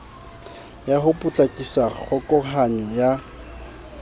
ya ho potlakisa kgokahanyo ya